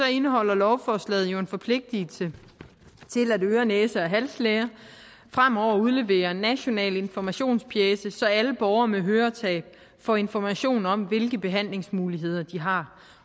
indeholder lovforslaget jo en forpligtelse til at øre næse og halslæger fremover udleverer en national informationspjece så alle borgere med høretab får information om hvilke behandlingsmulighederne de har